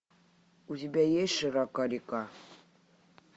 у тебя есть широка река